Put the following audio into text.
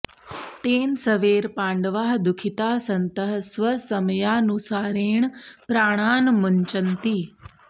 तेन सवेर् पाण्डवाः दुःखिताः सन्तः स्वसमयानुसारेण प्राणान् मुञ्चन्ति